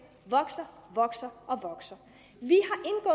vokser og vokser vi